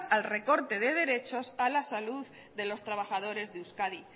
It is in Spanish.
al recorte de derechos a la salud de los trabajadores de euskadi